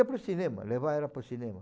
Ia para o cinema, levava ela para o cinema.